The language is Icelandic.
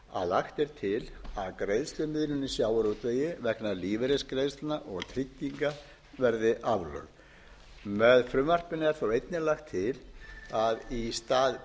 að lagt er til að greiðslumiðlun í sjávarútvegi vegna lífeyrisgreiðslna og trygginga verði aflögð með frumvarpinu er þó einnig lagt til að í stað